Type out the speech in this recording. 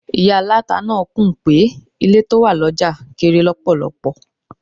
Ìyá aláta náà kùn pé àwọn ilé tó wà lọ́jà kéré lọ́pọ̀lọpọ̀.